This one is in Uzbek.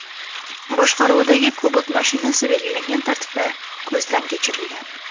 boshqaruvidagi Cobalt mashinasi belgilangan tartibda ko‘zdan kechirilgan.